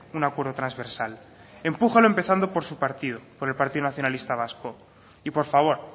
un acuerdo transversal empújelo empezando por su partido por el partido nacionalista vasco y por favor